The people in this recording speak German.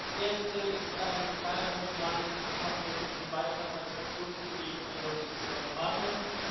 Das erste ist ein kleiner Kommentar, den ich machen möchte zu dem Beitrag meines Fraktionskollegen Notis Marias.